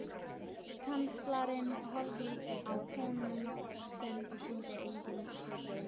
Kanslarinn horfði á konung sinn og sýndi engin svipbrigði.